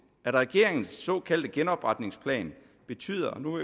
at regeringens såkaldte genopretningsplan betyder og nu